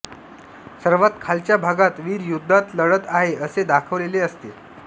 सर्वांत खालच्या भागात वीर युद्धात लढत आहे असे दाखवलेले असते